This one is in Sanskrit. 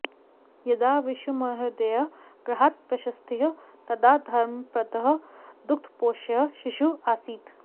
यदा विशुमहोदयः गृहात् प्रस्थितः तदा धर्मपदः दुग्धपोष्यः शिशुः आसीत्